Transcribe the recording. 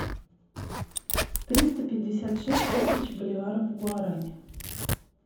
триста пятьдесят шесть тысяч боливаров в гуарани